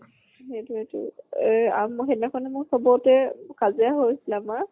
সেইটোয়ে টো। এহ আৰু মই সেইদিনাখন মোৰ সুধুতে কাজিয়া হৈছিলে আমাৰ।